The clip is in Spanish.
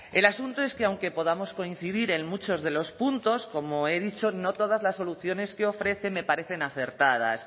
el asunto es que aunque podamos coincidir en muchos de los puntos como he dicho no todas las soluciones que ofrece me parecen acertadas